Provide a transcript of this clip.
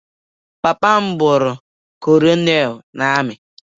Nna m bụrụ kọnelu na ami.